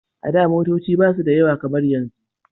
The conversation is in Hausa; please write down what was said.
A da motoci ba su da yawa kamar yanzu